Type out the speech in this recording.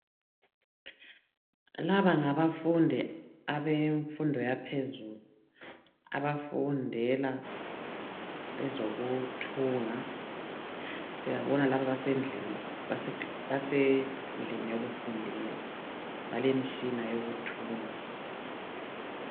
Laba ngabafundi abemfundo yaphezulu abafundela ezokuthunga siyabona lapha basendlini yokufundela balemitshina yokuthunga.